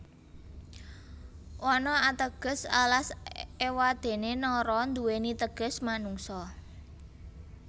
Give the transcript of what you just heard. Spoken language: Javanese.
Wana ateges alas ewadene Nara nduweni teges manungsa